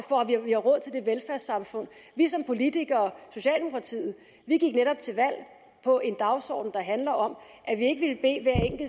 for at vi har råd til det velfærdssamfund vi som politikere socialdemokratiet gik netop til valg på en dagsorden der handler om